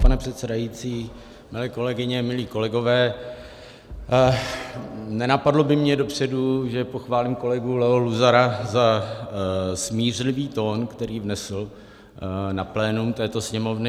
Pane předsedající, milé kolegyně, milí kolegové, nenapadlo by mě dopředu, že pochválím kolegu Leo Luzara za smířlivý tón, který vnesl na plénum této Sněmovny.